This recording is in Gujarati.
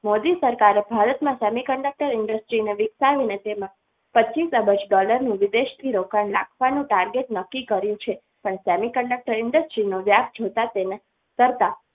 મોદી સરકારે ભારત માં semiconductor industries નેવિકસાવીને તેમાં પચીસ અબજ dollar વિદેશ થી રોકાણ નાખવાનું target નક્કી કર્યું છે પણ semiconductor industry નો વ્યાસ જોતા તેના